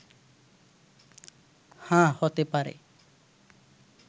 হ্যাঁ, হতে পারে